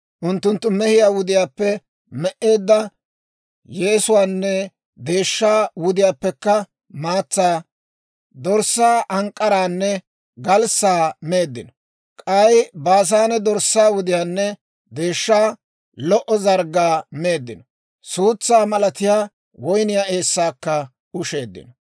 Unttunttu mehiyaa wudiyaappe me"eedda maatsaanne deeshshaa wudiyaappekka maatsaa, dorssaa ank'k'araanne galssaa meeddino; k'ay Baasaane dorssaa wudiyaanne deeshshaa, lo"o zarggaa meeddino; suutsaa malatiyaa woyniyaa eessaakka usheeddino.